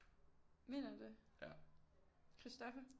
Mener du det Christopher